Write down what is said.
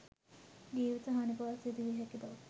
ජීවිත හානි පවා සිදුවිය හැකි බව